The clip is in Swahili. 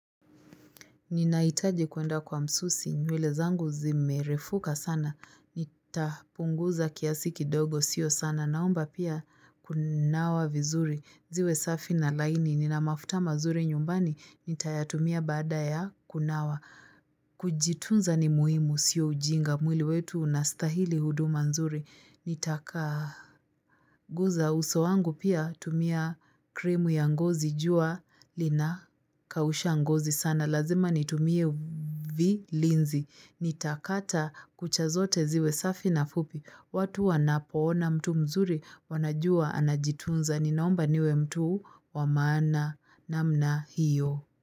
Ninahitaji kwenda kwa msusi, nywele zangu zimerefuka sana, nitapunguza kiasi kidogo sio sana, naomba pia kunawa vizuri, ziwe safi na laini, nina mafuta mazuri nyumbani, nitayatumia baada ya kunawa, kujitunza ni muhimu, sio ujinga, mwili wetu unastahili huduma nzuri, nitaka guza uso wangu pia tumia krimu ya ngozi jua, lina kausha ngozi sana, lazima nitumie vi linzi. Nitakata kuchazote ziwe safi na fupi. Watu wanapoona mtu mzuri wanajua anajitunza. Ninaomba niwe mtu wa maana na mna hiyo.